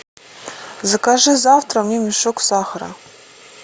закажи завтра мне мешок сахара